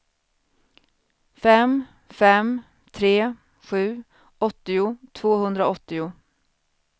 fem fem tre sju åttio tvåhundraåttio